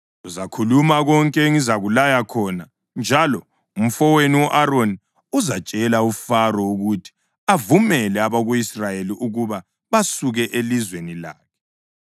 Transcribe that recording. Uzakhuluma konke engizakulaya khona njalo umfowenu u-Aroni uzatshela uFaro ukuthi avumele abako-Israyeli ukuba basuke elizweni lakhe.